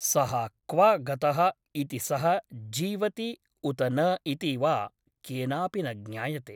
सः क्व गतः इति सः जीवति उत न इति वा केनापि न ज्ञायते ।